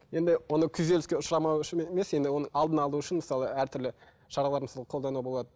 енді оны күйзеліске ұшырамау үшін емес енді оны алдын алу үшін мысалы әртүрлі шаралар мысалы қолдануға болады